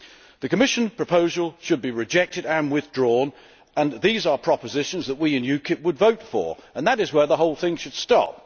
The Commission proposal should be rejected and withdrawn, and these are propositions which we in UKIP would vote for, and that is where the whole thing should stop.